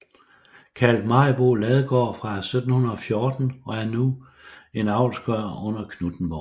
Kaldt Maribo Ladegaard fra 1714 og er nu en avlsgård under Knuthenborg